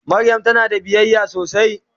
Mariam tana da biyayya sosai.